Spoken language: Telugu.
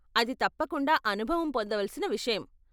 అది తప్పకుండ అనుభవం పొందవలసిన విషయం.